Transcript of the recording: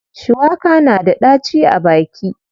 Shuwaka na da ɗaci a baki.